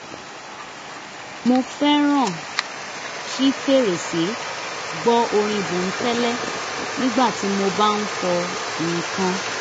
mo fẹ́ràn ṣí fèrèsé gbọ́ orin bònkẹ́lẹ́ nígbà tí mo bá ń fọ̀ nǹkan